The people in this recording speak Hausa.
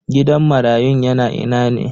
Gidan marayun yana ina ne?